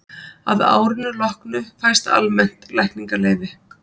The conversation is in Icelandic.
að árinu loknu fæst almennt lækningaleyfi